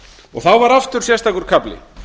og þá var aftur sérstakur kafli